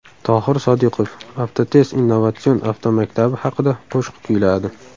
Tohir Sodiqov Avtotest innovatsion avtomaktabi haqida qo‘shiq kuyladi.